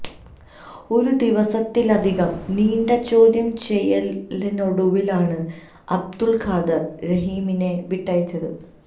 ഒരു ദിവസത്തിലധികം നീണ്ട ചോദ്യം ചെയ്യലിനൊടുവിലാണ് അബ്ദുൾ ഖാദർ റഹീമിനെ വിട്ടയച്ചത്